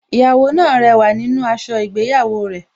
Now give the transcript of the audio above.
Ìyàwó náà rẹwà nínú aṣọ ìgbéyàwó rẹ̀